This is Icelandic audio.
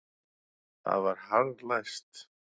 Það var harðlæst.